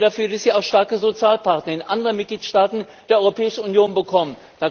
Sorgen Sie dafür, dass Sie auch starke Sozialpartner in anderen Mitgliedstaaten der Europäischen Union bekommen!